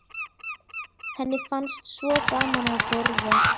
Henni fannst svo gaman að borða.